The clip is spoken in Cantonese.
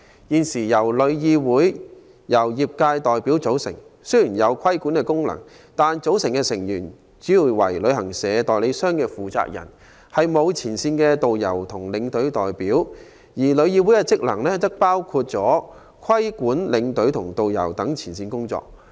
現時香港旅遊業議會由業界代表組成，雖然有規管功能，但卻主要由旅行社、旅行代理商負責人組成，沒有前線導遊和領隊代表。旅議會的職能，包括規管領隊及導遊等前線員工。